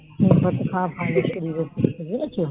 নিম পাতা খাওয়া ভালো শরীরের পক্ষে বুঝেছো